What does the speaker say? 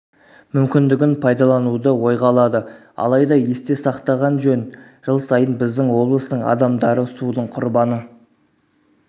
мүмкіндігін пайдалануды ойға алады алайда есте сақтаған жөн жыл сайын біздің облыстың адамдары судың құрбаны